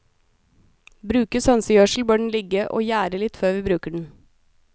Brukes hønsegjødsel bør den ligge og gjære litt før vi bruker den.